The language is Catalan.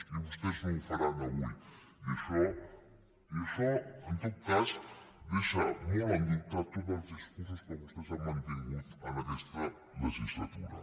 i vostès no ho faran avui i això en tot cas deixa molt en dubte tots els discursos que vostès han mantingut en aquesta legislatura